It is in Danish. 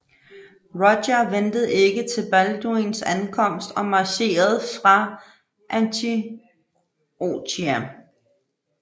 Roger ventede ikke til Balduins ankomst og marcherede fra Antiochia